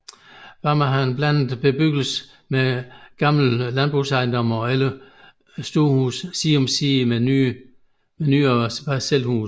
Barmer har en blandet bebyggelse med gamle landejendomme og ældre stuehuse side om side med nyere parcelhuse